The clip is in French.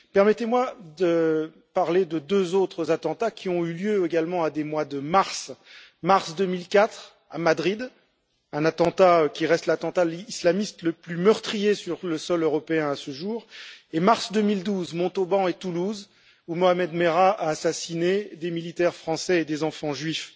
Permettez moi de parler de deux autres attentats qui ont eu lieu également au mois de mars mars 2004, à Madrid, un attentat qui reste à ce jour l'attentat islamiste le plus meurtrier sur le sol européen, et mars 2012, à Montauban et à Toulouse, où Mohamed Merah a assassiné des militaires français et des enfants juifs.